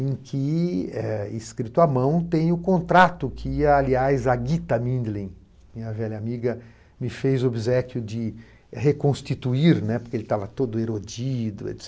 Em que, é escrito à mão, tem o contrato que, aliás, a Gita Mindlin, minha velha amiga, me fez o obséquio de reconstituir, né, porque ele estava todo erodido, et